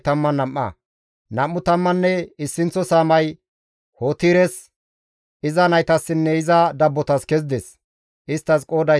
Nam7u tammanne issinththo saamay Hotires, iza naytassinne iza dabbotas kezides; isttas qooday 12.